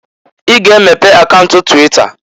I ga-emepe akaunt twita!